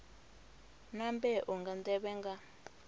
na mbeu nga nḓevhe nga